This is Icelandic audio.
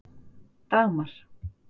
Dagmar